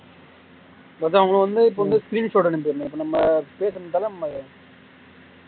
மொத உங்களுக்கு வந்து இப்ப வந்து அனுப்பிறனும் இப்ப நம்ம பண்ணி விட்டாலும் நம்ம